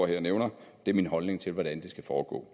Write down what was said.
her og nævner det er min holdning til hvordan det skal foregå